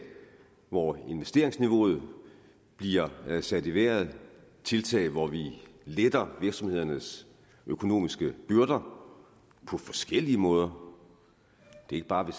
hvor investeringsniveauet bliver sat i vejret tiltag hvor vi letter virksomhedernes økonomiske byrder på forskellige måder ikke bare ved